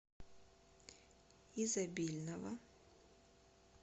изобильного